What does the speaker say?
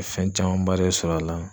Fɛn camanba de sɔrɔ a la.